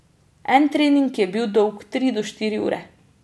En trening je bil dolg tri do štiri ure.